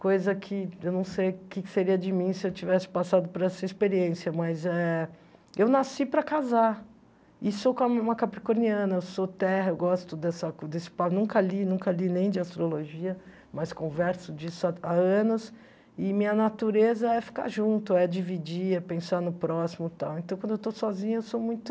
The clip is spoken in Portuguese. coisa que eu não sei o que que seria de mim se eu tivesse passado por essa experiência, mas eh eu nasci para casar, e sou uma capricorniana, eu sou terra, eu gosto dessa desse, nunca li, nunca li nem de astrologia, mas converso disso há anos, e minha natureza é ficar junto, é dividir, é pensar no próximo e tal, então quando eu estou sozinha eu sou muito...